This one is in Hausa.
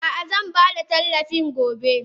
Ah ah zanbada tallafin gobe.